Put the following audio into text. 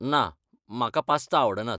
ना, म्हाका पास्ता आवडनात.